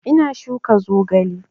Ina shuka zogale